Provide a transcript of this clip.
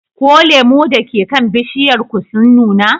Ko lemu da ke kan bishiyar ku sun nuna?